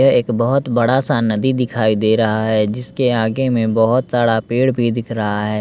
यह एक बहोत बड़ा सा नदी दिखाई दे रहा है जिसके आगे में बहोत सारा पेड़ भी दिख रहा है।